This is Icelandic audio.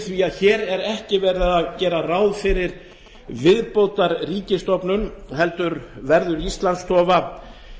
því að hér er ekki gert ráð fyrir viðbótarríkisstofnun heldur verður íslandsstofa